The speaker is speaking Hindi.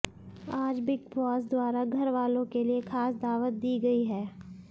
आज बिग बॉस द्वारा घरवालों के लिए खास दावत दीं गई हैं